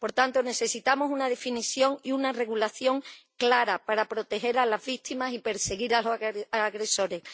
Por tanto, necesitamos una definición y una regulación clara para proteger a las víctimas y perseguir a los agresores.